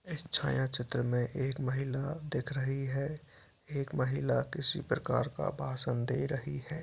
इस छाया छत्र में एक महिला दिख रही है एक महिला किसी प्रकार का भाषण दे रही है।